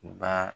Ba